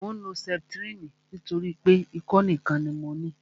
Mò ń lo sẹputirini nítorí pé ikọ́ nìkan ni mo ní